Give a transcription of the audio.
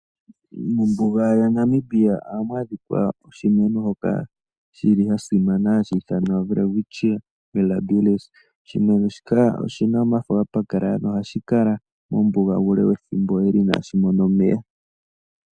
Ombuga ya Namibia ohamu adhika oshimeno shono shili shasimana hashi ithanwa welwistchia mirabilis. oshimeno shika oshina omafo ga pakalala. ohashi kala mombuga